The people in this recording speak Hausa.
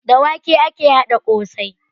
Da wake ake haɗa ƙosai